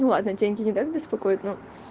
ну ладно деньги не так беспокоят но